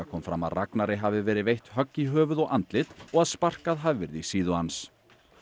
kom fram að Ragnari hafi verið veitt högg í höfuð og andlit og að sparkað hafi verið í síðu hans